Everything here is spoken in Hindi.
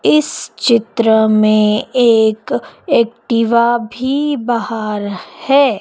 इस चित्र में एक एक्टिवा भी बाहर है।